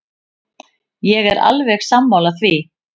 Ég er alveg sammála því.